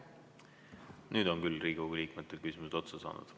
Nüüd on küll Riigikogu liikmetel küsimused otsa saanud.